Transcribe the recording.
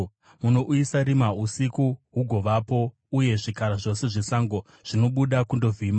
Munouyisa rima, usiku hugovapo, uye zvikara zvose zvesango zvinobuda kundovhima.